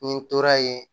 Ni n tora yen